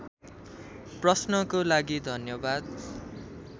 प्रश्नको लागि धन्यवाद